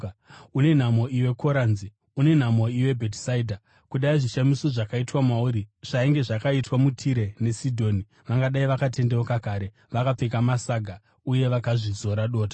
“Une nhamo iwe Korazini! Une nhamo iwe Bhetisaidha! Kudai zvishamiso zvakaitwa mauri zvainge zvakaitwa muTire neSidhoni vangadai vakatendeuka kare vakapfeka masaga uye vakazvizora dota.